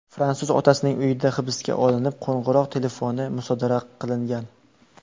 Fransuz otasining uyida hibsga olinib, qo‘ng‘iroq telefoni musodara qilingan.